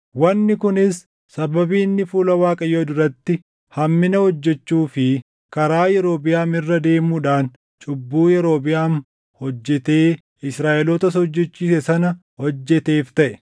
Wanni kunis sababii inni fuula Waaqayyoo duratti hammina hojjechuu fi karaa Yerobiʼaam irra deemuudhaan cubbuu Yerobiʼaam hojjetee Israaʼelootas hojjechiise sana hojjeteef taʼe.